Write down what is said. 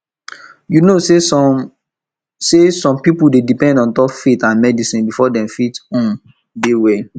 you um know say some say some people dey depend ontop faith and medicine before dem fit um dey well